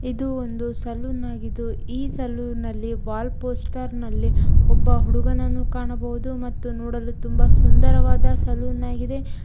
ಇದು ಒಂದು ಸಲೂನ್ ಆಗಿದ್ದು ಈ ಸಲೂನ್ನಲ್ಲಿ ವಾಲ್ ಪೋಸ್ಟರ್ ನಲ್ಲಿ ಒಬ್ಬ ಹುಡುಗನನ್ನು ಕಾಣಬಹುದು ಮತ್ತು ನೋಡಲು ತುಂಬಾ ಸುಂದರವಾದ ಸಲೂನ್ ಆಗಿದೆ.